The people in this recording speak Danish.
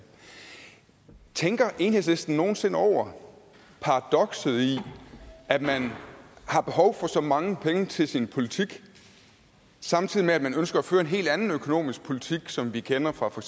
tænker enhedslisten nogen sinde over paradokset i at man har behov for så mange penge til sin politik samtidig med at man ønsker at føre en hel anden økonomisk politik som vi kender fra for